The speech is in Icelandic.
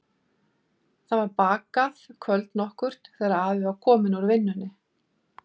Það var bakað kvöld nokkurt þegar afi var kominn úr vinnunni.